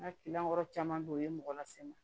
N ka kɔrɔ caman bɛ yen o ye mɔgɔ lase n ma